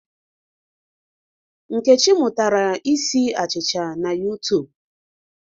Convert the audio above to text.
Nkechi mụtara isi achịcha na YuTub.